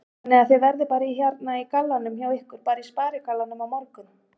Þannig að þið verðið bara í hérna gallanum hjá ykkur, bara í sparigallanum á morgun?